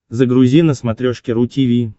загрузи на смотрешке ру ти ви